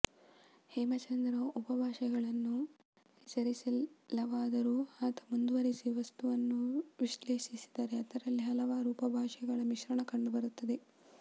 ಹೇಮ ಚಂದ್ರ ಉಪಭಾಷೆಗಳನ್ನು ಹೆಸರಿಸಿಲ್ಲವಾದರೂ ಆತ ಮುಂದಿರಿಸಿರುವ ವಸ್ತುವನ್ನು ವಿಶ್ಲೇಷಿಸಿದರೆ ಅದರಲ್ಲಿ ಹಲವಾರು ಉಪಭಾಷೆಗಳ ಮಿಶ್ರಣ ಕಂಡುಬರುತ್ತದೆ